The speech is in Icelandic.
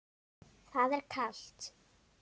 Það er kalt.